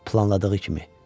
Planladığı kimi.